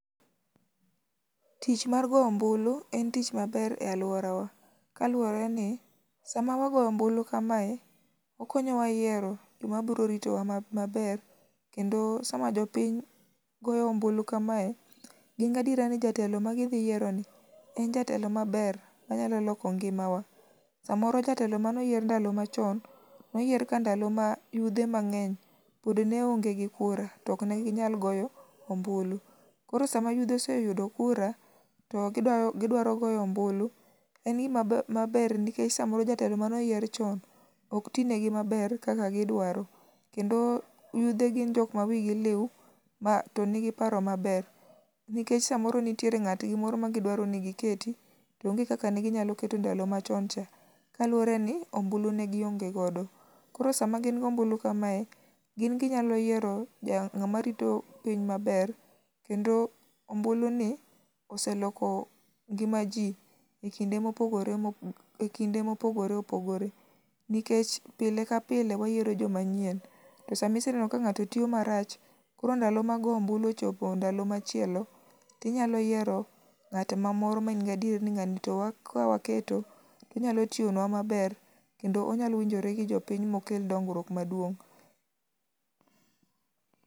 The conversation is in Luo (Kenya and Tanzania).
Tich mar go ombulu en tich maber e alworawa kaluwore ni, sama wagoyo ombulu kamae, okonyowa yiero joma borito wa ma maber kendo sama jo piny goyo ombulu kamae, gin gi adiera ni jatelo ma gidhi yieroni en jatelo maber manyalo loko ngimawa. Samoro jatelo mane oyier e ndalo machon, noyier ka ndalo ma yudhe mang'eny pod ne onge gi kura to ok ne ginyal goyo ombulu. Koro sama yudhe oseyudo kura to gidwa gidwaro goyo ombulu, en gima mab maber nikech samoro jatelo mane oyier chon ok tinegi maber kaka gidwaro. Kendo yudhe gin jok ma wigi liu ma to nigi paro maber, nikech samoro nitiere ng'atgi moro ma gidwaro ni giketi to onge kaka ne ginyalo keto ndalo machon cha, kaluwore ni ombulu ne gionge godo. Koro sama gin gi ombulu kamae, gin ginyallo yiero ja ng'ama rito piny maber, kendo ombuluni oseloko ngima ji e kinde mopogore mopo e kinde mopogore opogore. Nikech pile ka pile wayiero jo manyien to sama iseneno ka ng'ato tiyo marach koro ndalo mag go ombulu ochopo ndalo machielo, tinyalo yiero ng'at ma moro ma in gi adieri ni ng'ani to wa ka waketo, to onyalo tiyonwa maber, kendo onyalo winjore gi jo piny mokel dongruok maduong'.